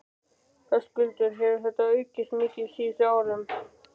Höskuldur: Hefur þetta aukist mikið á síðustu árum?